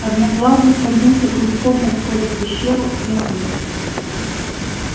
одноглазый свернулся клубком у входа в пещеру заснул